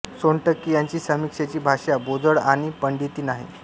सोनटक्के यांची समीक्षेची भाषा बोजड आणि पंडिती नाही